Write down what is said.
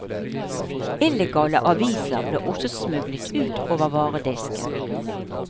Illegale aviser ble også smuglet ut over varedisken.